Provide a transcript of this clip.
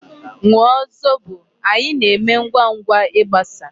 Ṅụọ zobo! Anyi na-eme ngwangwa igbasa.